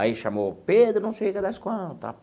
Aí chamou Pedro, não sei o que das quanta.